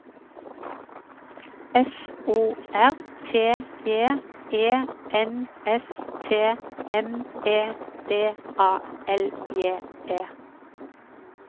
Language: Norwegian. F O R T J E N S T M E D A L J E